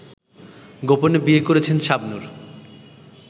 গোপনে বিয়ে করেছেন শাবনূর